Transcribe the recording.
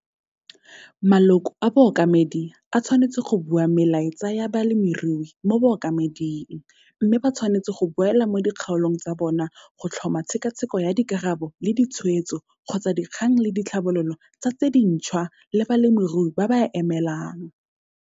Maloko a Bookamedi a tshwanetse go bua melaetsa ya balemirui mo Bookamedi mme ba tshwanetse go boela mo dikgaolong tsa bona go tlhoma tshekatsheko ya dikarabo le ditshwetso kgotsa dikgang le ditlhabololo tsa tse dintšhwa le balemirui ba ba a emelang.